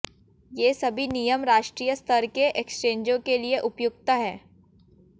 ये सभी नियम राष्ट्रीय स्तर के एक्सचेंजों के लिए उपुयक्त हैं